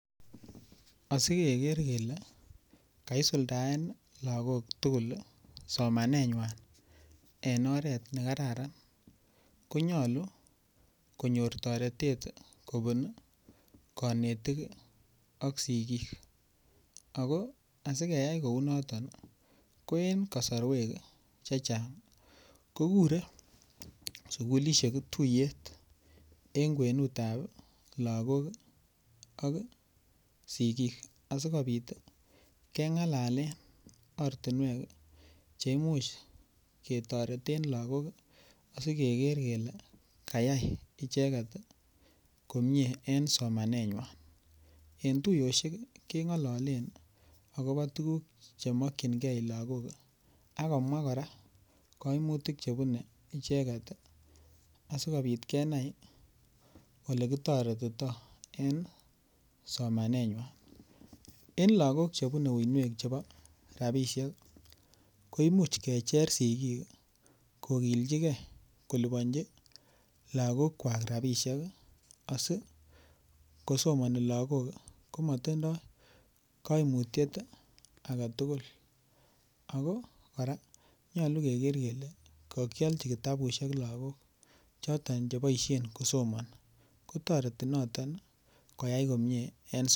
Asigeger kele kaisuldaen logok tugul somanenywan en oret ne kararan ko nyolu konyor toretet kobun konetik ak sigik ako sigeyay kouu noton ii ko en kosorwek chechang kogure sukulishek tuyet en kwenutab logok ak sigik asi kopit kengalalen ortinwek che imuch ketoreten logok asi keger kele kayay icheget komie en somanenywan, en tuyoshek kengololen okobo tuguk che mokyingee logok ak komwaa koraa koimutik che bunee icheget ii asikopit kenai ole kitoretito en somanenywan. En logok che bune uinwek chebo rabishek ii ko imuch kecher sigik kogilchigee kocheng rabishek asi kogilee logok ko motindo koimutyet ii agetugul. Ako koraa nyolu keger kele kokylji kitabushek logok choton che boishen kosomoni kotoreti noton